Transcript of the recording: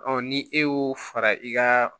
ni e y'o fara i ka